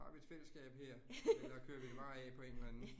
Har vi et fællesskab her, eller kører vi det bare af på en eller anden